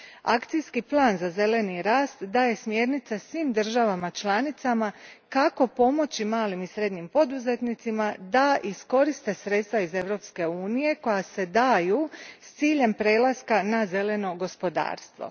Akcijski plan za zeleni rast daje smjernice svim državama članicama kako pomoći malim i srednjim poduzetnicima da iskoriste sredstva iz Europske unije koja se daju s ciljem prelaska na zeleno gospodarstvo.